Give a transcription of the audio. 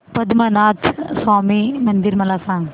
पद्मनाभ स्वामी मंदिर मला सांग